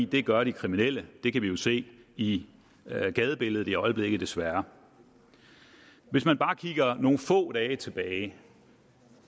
det gør de kriminelle det kan vi jo se i gadebilledet i øjeblikket desværre hvis man bare kigger nogle få dage tilbage